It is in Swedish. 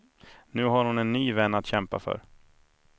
Nu har hon en ny vän att kämpa för.